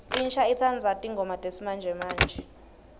insha itsandza tingoma tesimamje